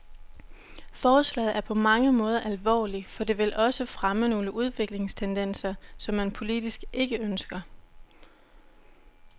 Forslaget er på mange måder alvorligt, for det vil også fremme nogle udviklingstendenser, som man politisk ikke ønsker.